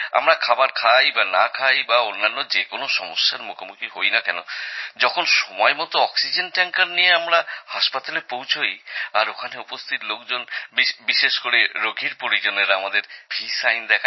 আমরা খাবার খাই বা না খাই বা অন্যান্য যে কোনো সমস্যার মুখোমুখি হই না কেনযখন সময়মতো অক্সিজেন ট্যাঙ্কার নিয়ে আমরা হাসপাতালে পৌঁছোই আর ওখানে উপস্থিত লোকজন বিশেষ করে রোগীর পরিজনেরা আমাদের ভি সাইন দেখায়